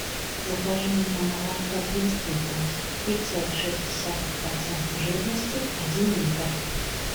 закажи мне молоко брест литовск три целых шесть десятых процента жирности один литр